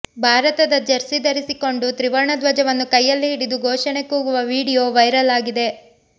ಭಾರತದ ಜೆರ್ಸಿ ಧರಿಸಿಕೊಂಡು ತ್ರಿವರ್ಣ ಧ್ವಜವನ್ನು ಕೈಯಲ್ಲಿ ಹಿಡಿದು ಘೋಷಣೆ ಕೂಗುವ ವಿಡಿಯೋ ವೈರಲ್ ಆಗಿದೆ